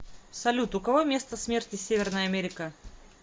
салют у кого место смерти северная америка